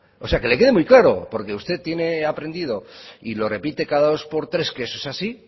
o sea que le quede muy claro porque usted tiene aprendido y lo repite cada dos por tres que eso es así